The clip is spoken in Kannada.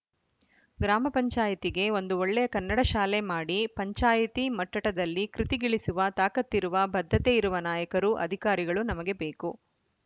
ಗ್ರಾಮ ಪಂಚಾಯಿತಿಗೆ ಒಂದು ಒಳ್ಳೆಯ ಕನ್ನಡ ಶಾಲೆ ಮಾಡಿ ಪಂಚಾಯಿತಿ ಮಟ್ಟಟದಲ್ಲಿ ಕೃತಿಗಿಳಿಸುವ ತಾಕತ್ತಿರುವ ಬದ್ಧತೆ ಇರುವ ನಾಯಕರು ಅಧಿಕಾರಿಗಳು ನಮಗೆ ಬೇಕು